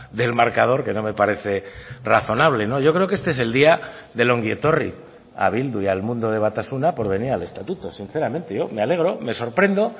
del marcador que no me parece razonable yo creo que este es el día del ongi etorri a bildu y al mundo de batasuna por venir al estatuto sinceramente yo me alegro me sorprendo